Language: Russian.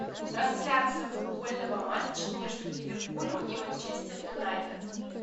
трансляция футбольного матча между ливерпулем и манчестер юнайтед